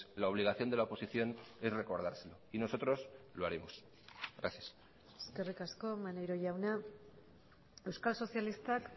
la obligación de la oposición es recordárselo y nosotros lo haremos gracias eskerrik asko maneiro jauna euskal sozialistak